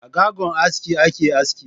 A sgagon aski ake aski.